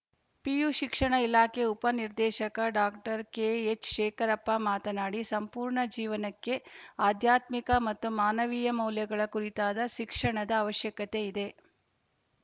PU ಶಿಕ್ಷಣ ಇಲಾಖೆ ಉಪ ನಿರ್ದೇಶಕ ಡಾಕ್ಟರ್ ಕೆಎಚ್‌ಶೇಖರಪ್ಪ ಮಾತನಾಡಿ ಸಂಪೂರ್ಣ ಜೀವನಕ್ಕೆ ಆಧ್ಯಾತ್ಮಿಕ ಮತ್ತು ಮಾನವೀಯ ಮೌಲ್ಯಗಳ ಕುರಿತಾದ ಶಿಕ್ಷಣದ ಅವಶ್ಯಕತೆ ಇದೆ